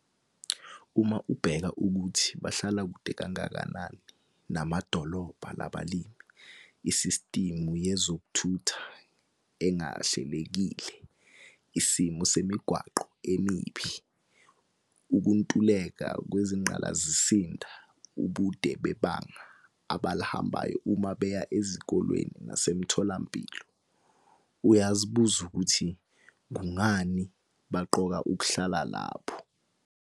Uma ubheka ukuthi bahlala kude kangakanani namadolobha la balimi, isistimu yezokuthutha engahlelekile, isimo semigwaqo emibi, ukuntuleka kwezingqalasizinda ubude bebanga abalihambayo uma beya ezikoleni nasemitholampilo - uyazibuza ukuthi kungani baqoka ukuhlala lapho?